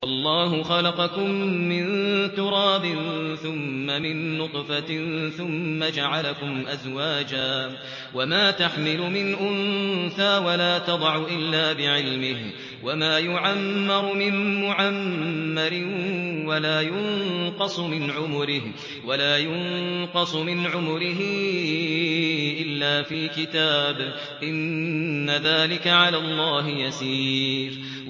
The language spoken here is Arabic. وَاللَّهُ خَلَقَكُم مِّن تُرَابٍ ثُمَّ مِن نُّطْفَةٍ ثُمَّ جَعَلَكُمْ أَزْوَاجًا ۚ وَمَا تَحْمِلُ مِنْ أُنثَىٰ وَلَا تَضَعُ إِلَّا بِعِلْمِهِ ۚ وَمَا يُعَمَّرُ مِن مُّعَمَّرٍ وَلَا يُنقَصُ مِنْ عُمُرِهِ إِلَّا فِي كِتَابٍ ۚ إِنَّ ذَٰلِكَ عَلَى اللَّهِ يَسِيرٌ